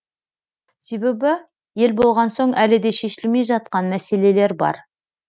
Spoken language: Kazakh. себебі ел болған соң әлі де шешілмей жатқан мәселелер бар